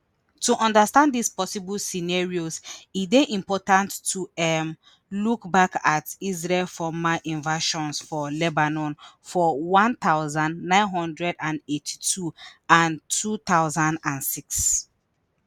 to understand dis possible scenarios e dey important to um look back at israel former invasions for lebanon for one thousand, nine hundred and eighty-two and two thousand and six